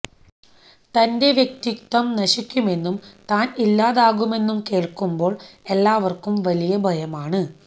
തന്റെ വ്യക്തിത്വം നശിക്കുമെന്നും താന് ഇല്ലാതാകുമെന്നും കേള്ക്കുമ്പോള് എല്ലാവര്ക്കും വലിയ ഭയമാണ്